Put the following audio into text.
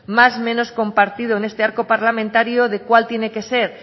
más menos compartido en este arco parlamentario de cuál tiene que ser